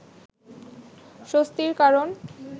স্বস্তির কারণ